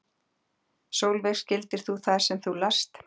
Sólveig: Skildir þú það sem þú last?